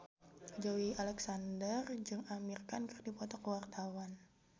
Joey Alexander jeung Amir Khan keur dipoto ku wartawan